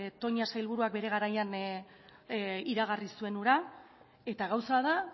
toña sailburuak bere garaian iragarri zuen hura eta gauza da